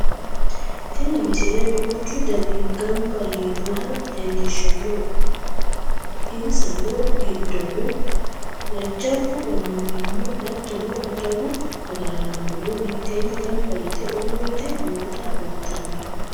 tini misile duuchu dani ganba yiinoha leellishshanno isna giddono jajjabbu annuwino hatton adawu agaraanono mitteenni ganba yite uurrite noota kultanno